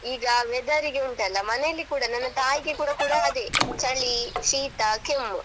ಈಗ weather ಗೆ ಉಂಟಲ್ಲಾ ಮನೇಲಿ ಕೂಡ ನನ್ನ ತಾಯಿಗೆ ಕೂಡ ಕೂಡ ಅದೇ ಚಳಿ ಶೀತ ಕೆಮ್ಮು.